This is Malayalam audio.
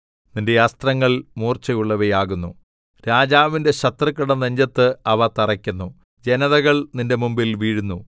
നിന്റെ അസ്ത്രങ്ങൾ മൂർച്ചയുള്ളവയാകുന്നു രാജാവിന്റെ ശത്രുക്കളുടെ നെഞ്ചത്ത് അവ തറയ്ക്കുന്നു ജനതകൾ നിന്റെ മുമ്പിൽ വീഴുന്നു